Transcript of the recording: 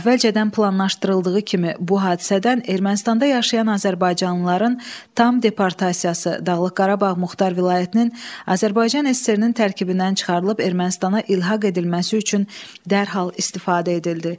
Əvvəlcədən planlaşdırıldığı kimi bu hadisədən Ermənistanda yaşayan azərbaycanlıların tam deportasiyası, Dağlıq Qarabağ Muxtar Vilayətinin Azərbaycan SSR-nin tərkibindən çıxarılıb Ermənistana ilhaq edilməsi üçün dərhal istifadə edildi.